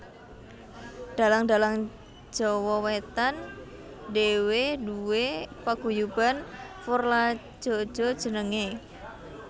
Dalang dalang Jawa Wetan dhewe duwé paguyuban Forladjaja jenenenge